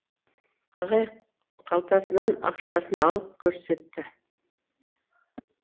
ағай қалтасынан ақшасын алып көрсетті